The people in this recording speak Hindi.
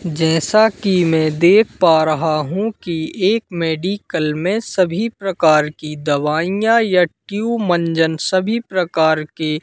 जैसा कि मैं देख पा रहा हूं कि एक मेडिकल में सभी प्रकार की दवाईयां या ट्यूब मंजन सभी प्रकार की--